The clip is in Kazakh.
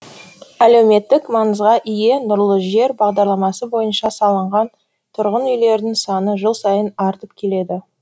әлеуметтік маңызға ие нұрлы жер бағдарламасы бойынша салынған тұрғын үйлердің саны жыл сайын артып келеді